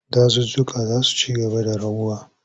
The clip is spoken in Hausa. Dazuzzuka za su ci gaba da raguwa.